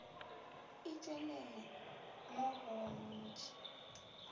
e tšwelele mo go ntši